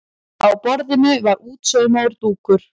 Á borðinu var útsaumaður dúkur.